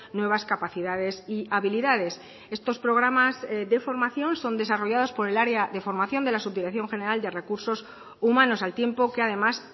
nuevas capacidades y habilidades estos programas de formación son desarrollados por el área de formación de la subdirección general de recursos humanos al tiempo que además